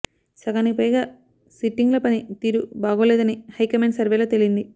సగానికి పైగా సిట్టింగ్ల పని తీరు బాగోలేదని హైకమాండ్ సర్వేలో తేలింది